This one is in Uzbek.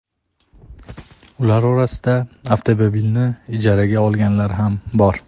Ular orasida avtomobilni ijaraga olganlar ham bor.